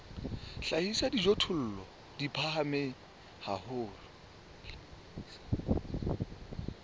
hlahisa dijothollo di phahame haholo